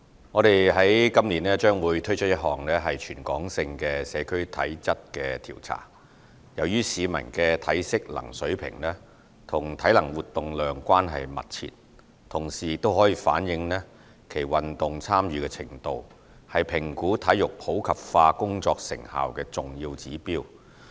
我們今年將會推出一項全港性社區體質調查，由於市民的體適能水平與體能活動量關係密切，同時亦可反映其運動參與程度，是評估體育普及化工作成效的重要指標。